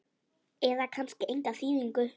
eða kannski enga þýðingu?